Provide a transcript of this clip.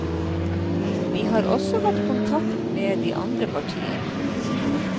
Vi har også tatt kontakt med de andre partiene.